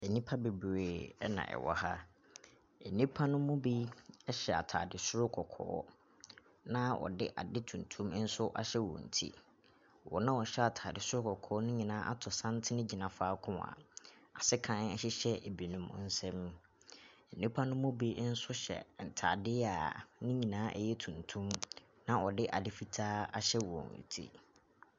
Nnipa bebree ɛna ɛwɔ ha. Nnipa no mu bi ɛhyɛ ataade soro kɔkɔɔ na wɔde ade tumtum nso ahyɛ wɔn ti. Wɔn a wɔhyɛ ataade soro kɔkɔɔ no nyinaa ato santene gyina faako a asekan hyehyɛ binom nsa mu. Nnipanom binom nso hyɛ ntaadeɛ a me nyinaa yɛ tumtum na ɔde ade fitaa ahyɛ wɔn ti.